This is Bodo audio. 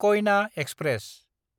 कयना एक्सप्रेस